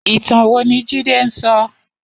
Itàn wó ni Jide n sò?